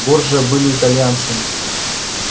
борджиа были итальянцами